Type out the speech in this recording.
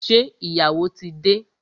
Ṣé ìyàwó tí dé?